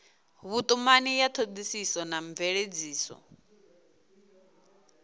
vhutumani ya thodisiso na mveledziso